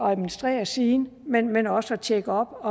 at administrere siden men men også at tjekke op